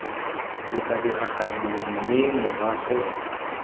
o tla diragadiwa mme morago